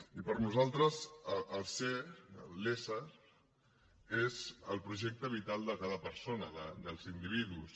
i per nosaltres el ser l’ésser és el projecte vital de cada persona dels individus